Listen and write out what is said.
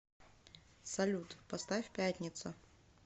салют поставь пятница